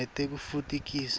nekutfutfukiswa